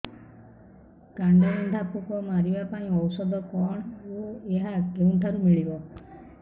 କାଣ୍ଡବିନ୍ଧା ପୋକ ମାରିବା ପାଇଁ ଔଷଧ କଣ ଓ ଏହା କେଉଁଠାରୁ ମିଳିବ